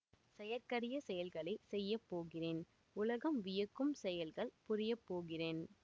செயற்கரிய செயல்களை செய்ய போகிறேன் உலகம் வியக்கும் செயல்கள் புரியப் போகிறேன்